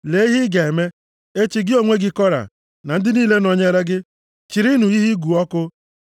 Lee ihe ị ga-eme, Echi gị onwe gị Kora, na ndị niile nọnyeere gị, chịrịnụ ihe ịgụ ọkụ,